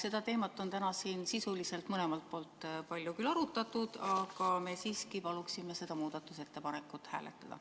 Seda teemat on täna siin sisuliselt mõlemalt poolt küll palju arutatud, aga me palume seda muudatusettepanekut hääletada.